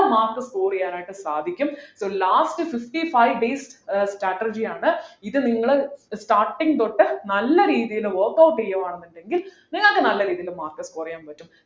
mark score ചെയ്യാനായിട്ട് സാധിക്കും so last fifty five days ഏർ strategy യാണ് ഇത് നിങ്ങൾ starting തൊട്ട് നല്ല രീതിയിൽ workout ചെയ്യുവ ന്നുണ്ടെങ്കിൽ നിങ്ങൾക്ക് നല്ല രീതിയിൽ mark score ചെയ്യാൻ പറ്റും